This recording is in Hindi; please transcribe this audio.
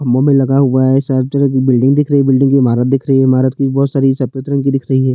खंभों में लगा हुवा है सारे तरफ बिल्डिंग दिख रही है बिल्डिंग की ईमारत दिख रही है ईमारत में बहोत सारे सफ़ेद रंग की दिख रही हैं।